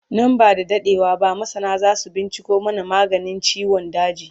Nan ba da daɗewa ba masana zasu binciko mana maganin ciwon daji